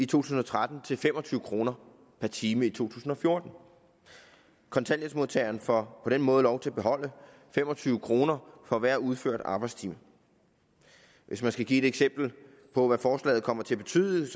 tusind og tretten til fem og tyve kroner per time i to tusind og fjorten kontanthjælpsmodtageren får på den måde lov til at beholde fem og tyve kroner for hver udført arbejdstime hvis man skal give et eksempel på hvad forslaget kommer til at betyde